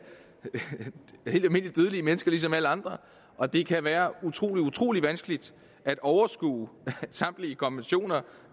helt almindelige dødelige mennesker som alle andre og det kan være utrolig utrolig vanskeligt at overskue samtlige konventioner